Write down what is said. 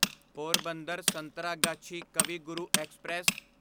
Porbandar Santragachi Kavi Guru express